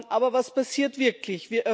Aber was passiert wirklich?